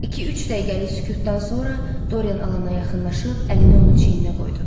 İki-üç dəqiqəlik sükutdan sonra Doryan Alana yaxınlaşıb əlini onun çiyninə qoydu.